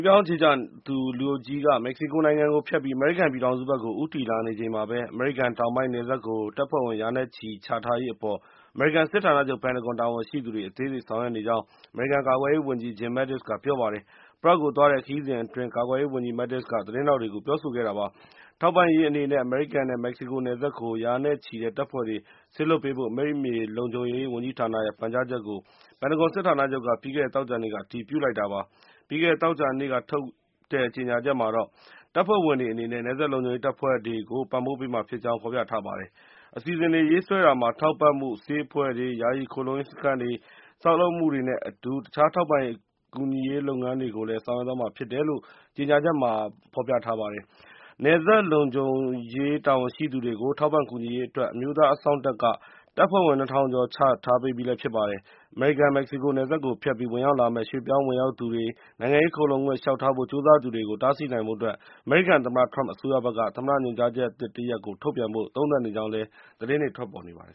ပြောင်းအခြေချသူ လူအုပ်ကြီးက မက္ကဆီကို နိုင်ငံကို ဖြတ်ပြီး အမေရိကန် ပြည်ထောင်စုဘက်ကို ဦးတည်လာနေချိန်မှာဘဲ အမေရိကန် တောင်ပိုင်း နယ်စပ်ကို တပ်ဖွဲ့ဝင် ရာနဲ့ချီ ချထားရေး အပေါ် အမေရိကန် စစ်ဌာနချုပ် ပင်တဂွန် တာဝန်ရှိသူတွေ အသေးစိတ် ဆောင်ရွက်နေကြောင်း အမေရိကန် ကာကွယ်ရေး ဝန်ကြီး Jim Mattis က ပြောပါတယ်။ Prague ကို သွားတဲ့ ခရီးစဉ် အတွင်း ကာကွယ်ရေး ဝန်ကြီး Mattis က သတင်းထောက်တွေကို ပြောဆိုခဲ့တာပါ။ ထောက်ပံ့ရေး အနေနဲ့ အမေရိကန်နဲ့ မက္ကဆီကို နယ်စပ်ကို ရာနဲ့ချီတဲ့ တပ်ဖွဲ့တွေ စေလွှတ်ပေးဖို့ အမိမြေလုံခြုံရေး ဝန်ကြီးဌာနရဲ့ ပန်ကြားချက်ကို ပင်တဂွန် စစ်ဌာနချုပ်က ပြီးခဲ့တဲ့ သောကြာနေ့က အတည်ပြုလိုက်တာပါ။ ပြီးခဲ့တဲ့ သောကြာနေ့က ထုတ်တဲ့ ကြေညာချက်မှာတော့ တပ်ဖွဲ့ဝင်တွေ အနေနဲ့ နယ်စပ်လုံခြုံရေးတပ်ဖွဲ့တွေကို ပံ့ပိုးပေးမှာ ဖြစ်ကြောင်း ဖော်ပြထားပါတယ်။ အစီအစဉ်တွေ ရေးဆွဲတာမှာ ထောက်ပံ့မှု၊ ဆေးအဖွဲ့တွေ၊ ယာယီ ခိုလှုံရေး စခန်းတွေ ဆောက်လုပ်မှုတွေနဲ့ အတူ တခြားထောက်ပံ့ကူညီရေး လုပ်ငန်းတွေကို ဆောင်ရွက်သွားမှာ ဖြစ်တယ်လို့လည်း ကြေညာချက်မှာ ပါပါတယ်။ နယ်စပ်လုံခြုံရေး တာဝန်ရှိသူတွေကို ထောက်ပံ့ကူညီရေး အတွက် အမျိုးသား အစောင့်တပ်က တပ်ဖွဲ့ဝင် ၂ ထောင်ကျော် ချထားပေးပြီး ဖြစ်ပါတယ်။ အမေရိကန် - မက္ကဆီကို နယ်စပ်ကို ဖြတ်ပြီး ဝင်ရောက်လာမယ့် ရွှေ့ပြောင်းဝင်ရောက်သူတွေ၊ နိုင်ငံရေး ခိုလှုံခွင့် လျှောက်ထားဖို့ ကြိုးစားသူတွေကို တားဆီးနိုင်ဖို့ အတွက် အမေရိကန် သမ္မတ Trump အစိုးရဘက်က သမ္မတ ညွှန်ကြားချက်သစ်တရပ် ထုတ်ပြန်ဖို့ သုံးသပ်နေကြောင်းလည်း သတင်းတွေ ထွက်နေပါတယ်